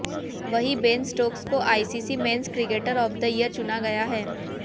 वहीं Ben Stokes को ICC men's cricketer of the year चुना गया है